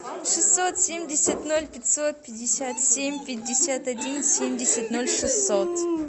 шестьсот семьдесят ноль пятьсот пятьдесят семь пятьдесят один семьдесят ноль шестьсот